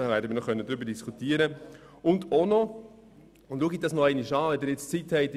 Auch die Periodenlänge der Finanzierung sollten wir nochmals anschauen.